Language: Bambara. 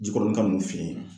Jikɔrɔnika ninnu fe yen